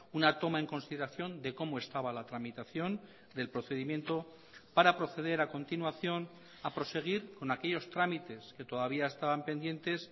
una toma en consideración de cómo estaba la tramitación del procedimiento para proceder a continuación a proseguir con aquellos trámites que todavía estaban pendientes